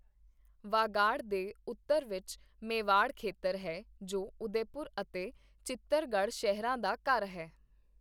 ਵਾਗਾੜ ਦੇ ਉੱਤਰ ਵਿੱਚ ਮੇਵਾੜ ਖੇਤਰ ਹੈ, ਜੋ ਉਦੈਪੁਰ ਅਤੇ ਚਿੱਤਰਗੜ੍ਹ ਸ਼ਹਿਰਾਂ ਦਾ ਘਰ ਹੈ।